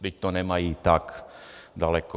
Vždyť to nemají tak daleko.